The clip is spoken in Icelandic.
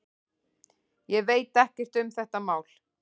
Ég veit ekkert um þetta mál.